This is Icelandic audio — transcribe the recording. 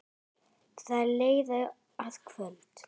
Það leið að kvöldi.